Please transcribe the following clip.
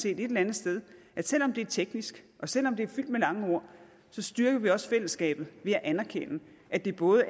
et eller andet sted at selv om det er teknisk og selv om det er fyldt med lange ord styrker vi også fællesskabet ved at anerkende at det både